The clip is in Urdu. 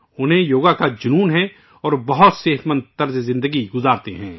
ان میں یوگ کے تئیں ایک جذبہ ہے اور وہ بہت ہیلتھی لائف اسٹائل جیتے ہیں